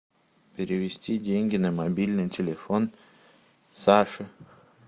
перевести деньги на мобильный телефон саше